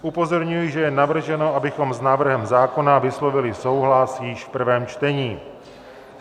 Upozorňuji, že je navrženo, abychom s návrhem zákona vyslovili souhlas již v prvém čtení.